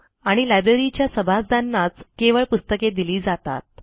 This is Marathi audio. आणि लायब्ररीच्या सभासदांनाच केवळ पुस्तके दिली जातात